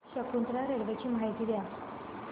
Shakuntala railway ची माहिती द्या